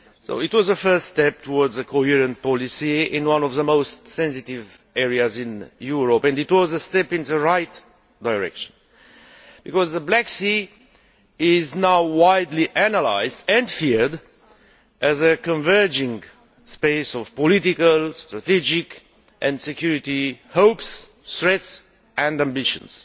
This was the first step towards a coherent policy in one of the most sensitive areas in Europe, and it was a step in the right direction because the Black Sea is now widely analysed and feared as a converging space of political, strategic and security hopes, strengths and ambitions.